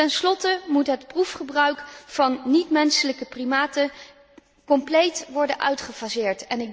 Ten slotte moet het proefgebruik van niet menselijke primaten compleet worden uitgefaseerd.